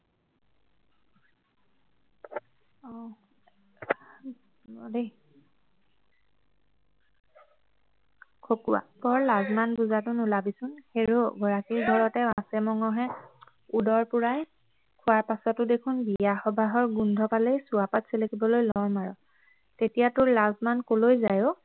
খকুৱা - বৰ লাজ মান বুজাটো নোলাবিচোন হেৰৌ গৰাকীৰ ঘৰতে মাছে মঙহে উদৰ পূৰাই খোৱাৰ পাছতো দেখোন বিয়া সবাহৰ গোন্ধ পালেই চুৱাপাত চেলেকিবলৈ লৰ মাৰ তেতিয়া তোৰ লাজ মান কলৈ যায় ঔ